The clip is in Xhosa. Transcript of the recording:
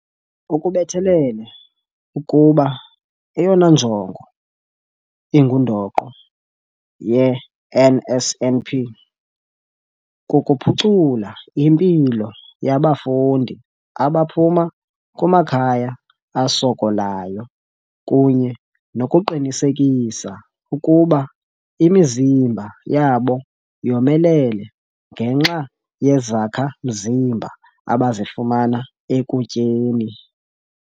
Ukubethelele ukuba eyona njongo ingundoqo ye-NSNP kukuphucula impilo yabafundi abaphuma kumakhaya asokolayo kunye nokuqinisekisa ukuba imizimba yabo yomelele ngenxa yezakha-mzimba abazifumana ekutyeni.